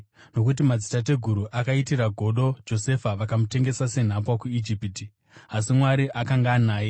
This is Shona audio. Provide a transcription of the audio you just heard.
“Nokuti madzitateguru akaitira godo Josefa, vakamutengesa senhapwa kuIjipiti. Asi Mwari akanga anaye